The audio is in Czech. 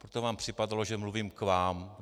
Proto vám připadalo, že mluvím k vám.